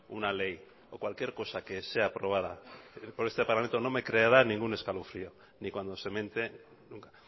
una ley o cualquier cosa que sea aprobada por este parlamento no me creará ningún escalofrío ni cuando se mente nunca